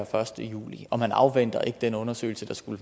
første juli og man afventer ikke den undersøgelse der skulle